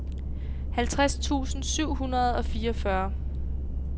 halvtreds tusind syv hundrede og fireogfyrre